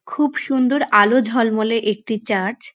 খুব সুন্দর আলো ঝলমলে একটি চার্চ ।